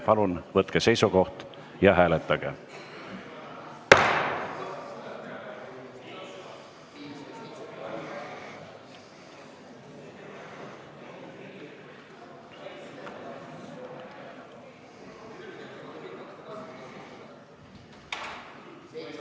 Palun võtke seisukoht ja hääletage!